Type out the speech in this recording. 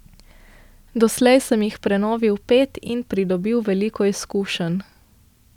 Doslej sem jih prenovil pet in pridobil veliko izkušenj.